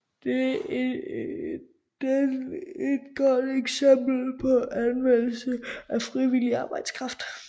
Den et godt eksempel på anvendelse af frivillig arbejdskraft